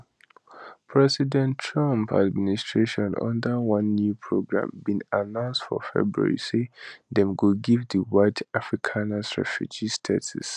president trump administration under one new program bin announce for february say dem go give di white afrikaners refugee status